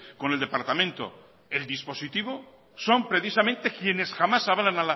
con el departamento del dispositivo son precisamente quienes jamás avalan